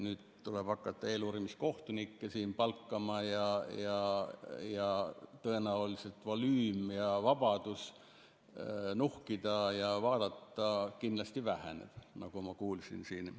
Nüüd tuleb hakata eeluurimiskohtunikke siin palkama ja tõenäoliselt volüüm ja vabadus nuhkida ning vaadata kindlasti väheneb, nagu ma kuulsin siin.